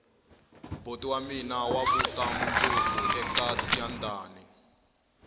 boti wa mina wa vuta mundzuku eka siyandhani